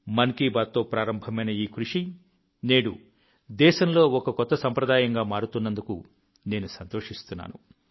మన్ కీ బాత్తో ప్రారంభమైన ఈ కృషి నేడు దేశంలో ఒక కొత్త సంప్రదాయంగా మారుతున్నందుకు నేను సంతోషిస్తున్నాను